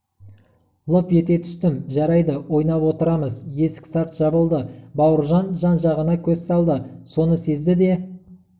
лып ете түстім жарайды ойнап отырамыз есік сарт жабылды бауыржан жан-жағына көз салды соны сезді де